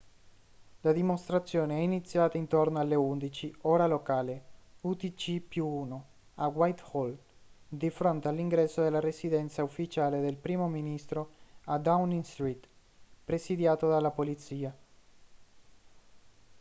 la dimostrazione è iniziata intorno alle 11:00 ora locale utc+1 a whitehall di fronte all'ingresso della residenza ufficiale del primo ministro a downing street presidiato dalla polizia